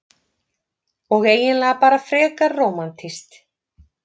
Og eiginlega bara frekar rómantískt.